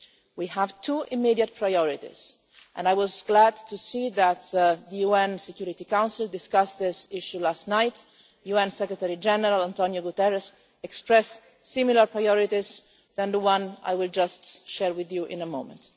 We have two immediate priorities and I was glad to see that the UN Security Council discussed this issue last night. UN Secretary General António Guterres expressed similar priorities to the one I will share with you in a moment.